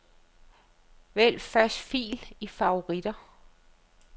Vælg første fil i favoritter.